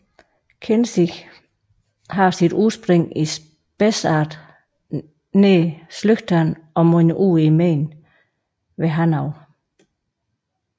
Kinzig har sit udspring i Spessart nær Schlüchtern og munder ud i Main ved Hanau